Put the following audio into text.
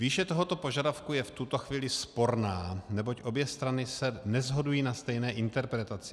Výše tohoto požadavku je v tuto chvíli sporná, neboť obě strany se neshodují na stejné interpretaci.